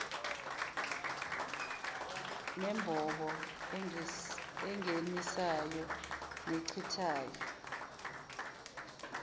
nembobo engenisayo nechithayo